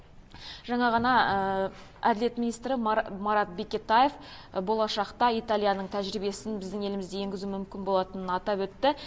жаңа ғана әділет министрі марат бекетаев болашақта италияның тәжірибесін біздің елімізде енгізу мүмкін болатынын атап өтті